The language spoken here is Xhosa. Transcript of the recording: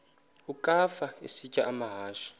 ukafa isitya amahashe